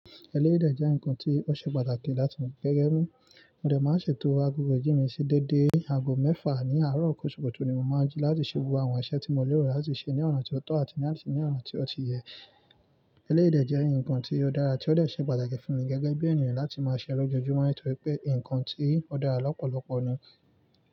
Ẹlẹ́dè jẹ́ ǹkan tí ó ṣe pàtàkì láti mú gẹ́gẹ́ mú. Òdè máa ń ṣètò agogo ijí mi sí déédé agogo mẹ́fà ní àárọ̀ kòṣòwò tó ni mo máa ń jí láti ṣe gbogbo àwọn iṣẹ́ tí mo lérò láti ṣe ní ọ̀nà tí ó tọ́ àti láti ṣe ní ọ̀nà tí ó ti yẹ. Ẹlẹ́dè jẹ́ ǹkan tí ó dára tí ó dẹ̀ ṣe pàtàkì fún mi gẹ́gẹ́ bí ènìyàn láti máa ṣẹlọ́ jojú mọ́ nítorí pé ǹkan tí ó dára lọ́pọ̀lọpọ̀ ni.